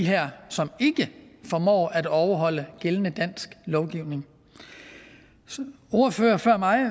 her som ikke formår at overholde gældende dansk lovgivning ordføreren før mig